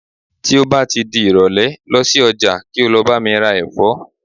ti o ba ti di irole, losi oja ki o lo ba mi ra efo